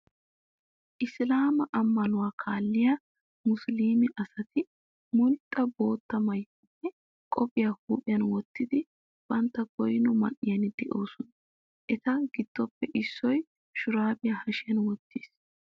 Isilaamaa ammanuwa kaalliya musuluume asati mulxxa bootta maayuwa nne qophiya huuphiyan wottidi bantta goyno man"iyan doosona. Eta giddoppe issoy sharbbiya hashiyan wottiis.